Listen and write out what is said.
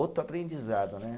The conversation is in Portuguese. Outro aprendizado, né?